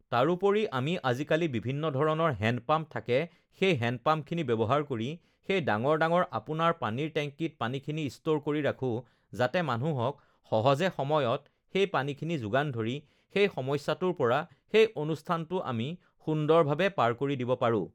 তাৰোপৰিও আমি ugh আজিকালি বিভিন্ন ধৰণৰ হেণ্ডপাম্প থাকে সেই হেণ্ডপাম্পখিনি ব্যৱহাৰ কৰি সেই ডাঙৰ ডাঙৰ আপোনাৰ পানীৰ টেংকিত পানীখিনি ষ্ট'ৰ কৰি ৰাখোঁ যাতে মানুহক সহজে সময়ত সেই পানীখিনি যোগান ধৰি সেই সমস্যাটোৰ পৰা সেই অনুষ্ঠানটো আমি সুন্দৰভাৱে পাৰ কৰি দিব পাৰোঁ